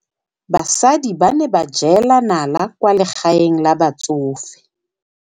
Basadi ba ne ba jela nala kwaa legaeng la batsofe.